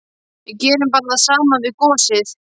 Við gerum bara það sama við gosið!